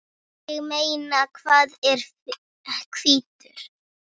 Ég meina, hann er hvítur!